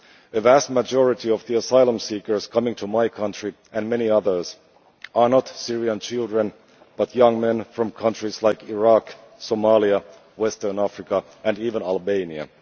The vast majority of the asylum seekers coming to my country and many others are not Syrian children, but young men from countries like Iraq, Somalia, Western Africa and even Albania.